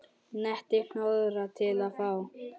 Nettir hnoðrar til og frá.